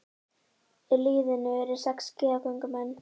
Í liðinu eru sex skíðagöngumenn